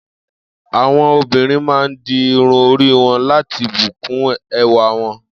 Àwo̩n obìnrin máa ń di irun orí wo̩n la̩ti bù kún e̩wà wo̩n